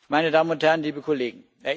Meine Damen und Herren, liebe Kollegen!